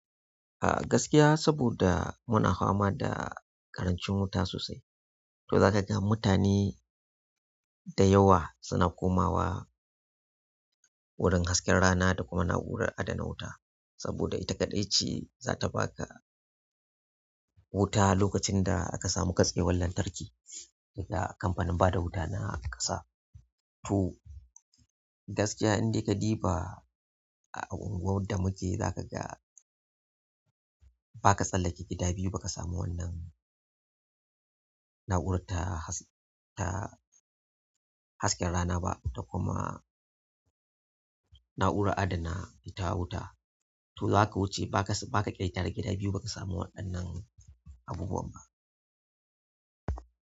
A gaskiya saboda muna fama da karanci wuta sosai, to zakaga mutane. Da yawa suna komawa wurin hasken rana da kuma na'urar adana wu saboda ita kaɗai ce zata baka wuta lokacin da aka samu katsewan lantarki daga kamfanin bada wuta na ƙasa. To gaskiya indai ka ɗiba a unguwar da muke za ka ga ba ka tsallake gida biyu ba ka samu wannan na'urar ta haske rana ba da kuma na'urar adana ita wuta. To za ka wuce ba ka ƙetare gida biyu ba ka samu waɗannan abubuwan ba.